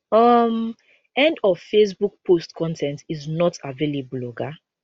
um end of facebook post con ten t is not available oga